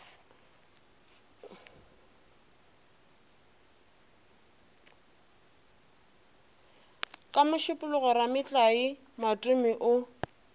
ka mošupologo rametlae matome o